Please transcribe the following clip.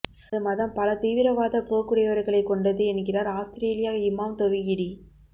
தமது மதம் பல தீவிரவாத போக்குடையவர்களை கொண்டது என்கிறார் அவுஸ்திரேலியா இமாம் தொவிகிடி